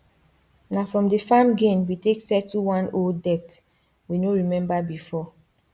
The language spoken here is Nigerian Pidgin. na from the farm gain we take settle one old debt we no remember before